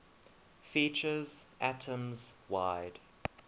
features atoms wide